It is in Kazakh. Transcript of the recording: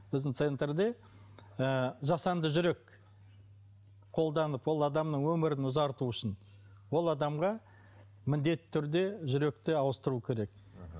біздің центрде ы жасанды жүрек қолданып ол адамның өмірін ұзарту үшін ол адамға міндетті түрде жүректі ауыстыру керек мхм